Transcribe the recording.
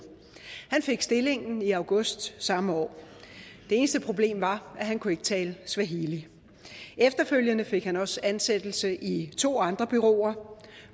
han fik stillingen i august samme år det eneste problem var at han ikke kunne tale swahili efterfølgende fik han også ansættelse i to andre bureauer